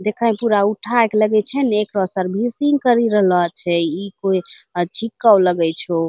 देखइ पूरा उठाइ के लगै छे ना एकरो सर्विसिंग करी रहलो छे इ कोई अच्छी कॉल लगाइ छो |